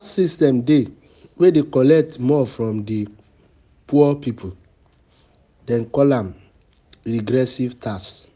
system dey wey dey collect more from di poor pipo, dem call am regressive tax